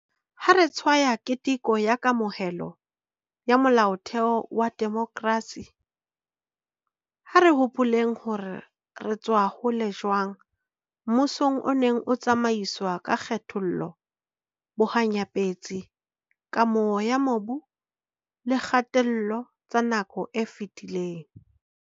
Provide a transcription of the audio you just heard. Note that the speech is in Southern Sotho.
Ha re tshwaya keteko ya kamohelo ya Molaotheo wa demokrasi, ha re hopoleng hore re tswa hole jwang mmusong o neng o tsamaiswa ka kgethollo, bohanya-petsi, kamoho ya mobu le kgatello tsa nako e fetileng.